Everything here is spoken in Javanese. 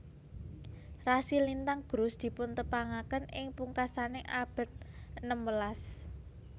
Rasi lintang Grus dipuntepangaken ing pungkasaning abad enem welas